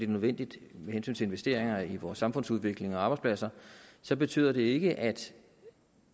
nødvendigt med hensyn til investeringer i vores samfundsudvikling og arbejdspladser så betyder det ikke at